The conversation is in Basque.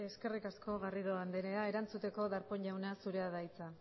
eskerrik asko garrido andrea erantzuteko darpón jauna zurea da hitza